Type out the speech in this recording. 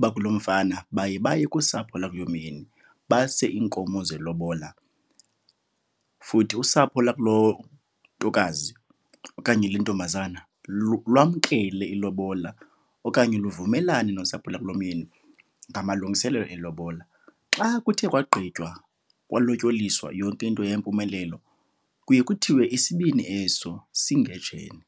bakulomfana baye baye kusapho lwakulomyeni base iinkomo zelobola. Futhi usapho lakulontokazi okanye lentombazana lwamkele ilobola okanye luvumelana nosapho lwakulomyeni ngamalungiselelo elobola. Xa kuthe kwagqitywa kwalotyoliswa, yonke into yayimpumelelo, kuye kuthiwe isibini eso singejene.